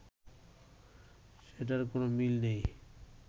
সেটার কোন মিল নেই